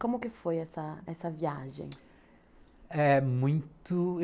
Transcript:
Como que foi essa essa viagem? É muito...